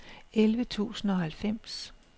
elleve tusind og halvfems